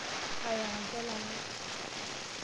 Yakaki olola lai.